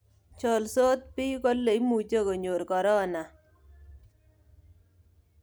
Cholsoot biik kole imuchi konyor corona